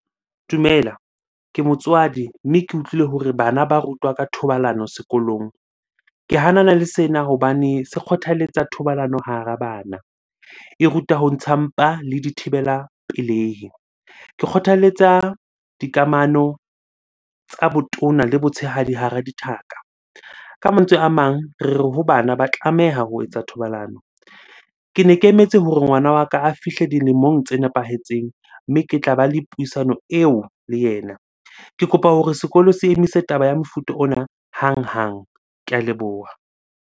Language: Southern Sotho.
Dumela, ke motswadi mme ke utlwile hore bana ba rutwa ka thobalano sekolong. Ke hanana le sena hobane se kgothaletsa thobalano hara bana. E ruta ho ntsha mpa le dithibela pelehi. Ke kgothaletsa dikamano tsa botona le botshehadi hara dithaka. Ka mantswe a mang, re re ho bana ba tlameha ho etsa thobalano. Kene ke emetse hore ngwana wa ka a fihle dilemong tse nepahetseng mme ke tla ba le puisano eo le yena. Ke kopa hore sekolo se emise taba ya mofuta ona hanghang. Ke a leboha.